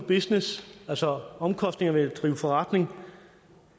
business altså omkostninger ved at drive forretning